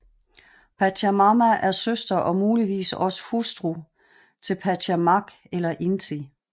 Pachamama er søster og muligvis også hustru til Pachacamac eller Inti